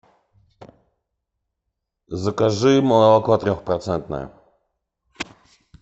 закажи молоко трех процентное